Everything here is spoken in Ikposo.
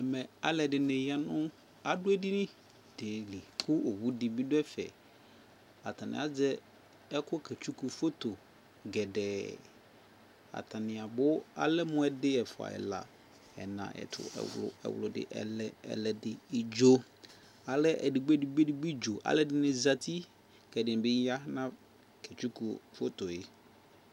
Ɛmɛ alu ɛdini ya nu adu ɛdini kɛ owu di ni bi du ɛfɛAtani azɛ ɛkuɛdi kɛ tsuku foto gɛdɛɛAtani abu Alɛ mu ɛdi, ɛfua ɛla ɛna ɛtu, ɛwlu, ɛwludi, ɛlɛ, ɛwludi, idzoAlɛ ɛdigboɛdigboɛdigbo idzoAlʋɛ di ni zati Ɛdini bi ya kɛ tsuku foto yɛ'